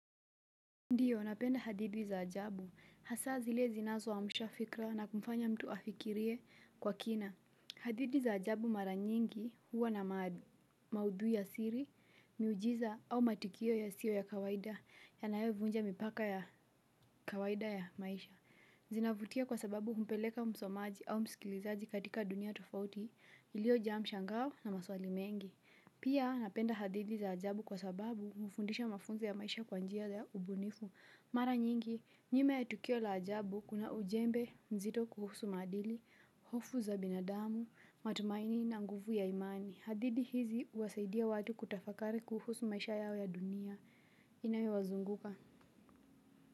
Ndiyo, napenda hadithi za ajabu. Hasa zile zinazo amsha fikiria na kumfanya mtu afikirie kwa kina. Hadithi za ajabu mara nyingi huwa na maudhu ya siri, miujiza au matukio ya sio ya kawaida. Yanaovunja mipaka ya kawaida ya maisha. Zinavutia kwa sababu humpeleka msomaji au mskilizaji katika dunia tofauti ilio njaa mshangao na maswali mengi. Pia napenda hadithi za ajabu kwa sababu hufundisha mafunzo ya maisha kwa njia za ubunifu. Mara nyingi, njime ya tukio la ajabu kuna ujembe mzito kuhusu madili, hofu za binadamu, matumaini na nguvu ya imani. Hadithi hizi uwasaidia watu kutafakari kuhusu maisha yao ya dunia. Inao wazunguka.